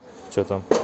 сбер включи э ротик